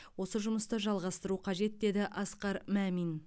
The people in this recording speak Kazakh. осы жұмысты жалғастыру қажет деді асқар мәмин